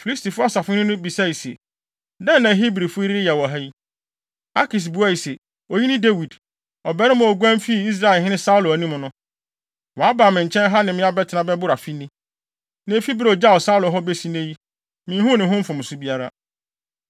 Filistifo asahene no bisae se, “Dɛn na Hebrifo yi reyɛ wɔ ha?” Akis buae se, “Oyi ne Dawid, ɔbarima a oguan fii Israelhene Saulo anim no. Waba me nkyɛn ha ne me abɛtena bɛboro afe ni. Na efi bere a ogyaw Saulo hɔ besi nnɛ yi, minhuu ne ho mfomso biara.”